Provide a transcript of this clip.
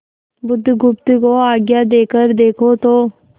बुधगुप्त को आज्ञा देकर देखो तो